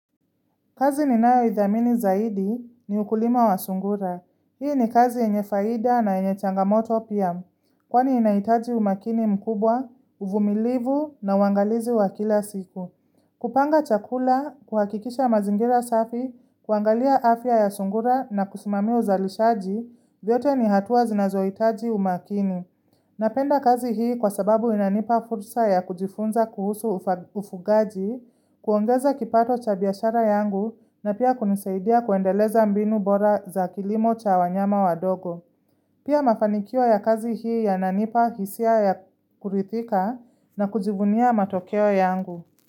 Kazi ninayoidhamini zaidi ni ukulima wa sungura. Hiyo ni kazi yenye faidha na yenye changamoto pia, kwani inaitaji umakini mkubwa, uvumilivu na uangalizi wa kila siku. Kupanga chakula, kuhakikisha mazingira safi, kuangalia afya ya sungura na kusimamia uzalishaji, vyote ni hatua zinazoitaji umakini. Na penda kazi hii kwa sababu inanipa fursa ya kujifunza kuhusu ufugaji, kuongeza kipato cha biashara yangu na pia kunisaidia kuendeleza mbinu bora za kilimo cha wanyama wadogo. Pia mafanikio ya kazi hii yananipa hisia ya kurithika na kujivunia matokeo yangu.